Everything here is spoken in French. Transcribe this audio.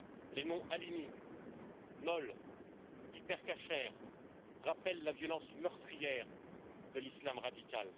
les noms Halimi, Knoll, Hyper Cacher, rappellent la violence meurtrière de l'Islam radical.